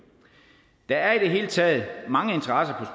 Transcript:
der er i det hele taget mange interesser